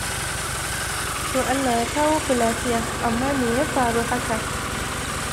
To Allah ya kawo ku lafiya. Amma me ya faru haka?